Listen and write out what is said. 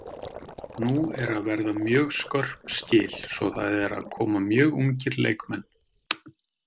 Nú eru að verða mjög skörp skil svo það eru að koma mjög ungir leikmenn.